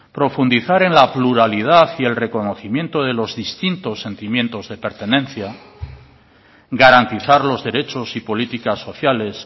profundizar en la pluralidad y el reconocimiento de los distintos sentimientos de pertenencia garantizar los derechos y políticas sociales